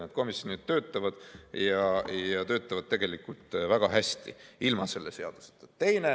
Need komisjonid töötavad ja nad töötavad tegelikult väga hästi, ilma selle seaduseta.